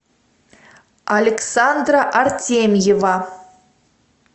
александра артемьева